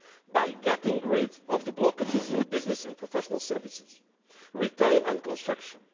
sector by getting rid of the blockages in business and professional services, retail and construction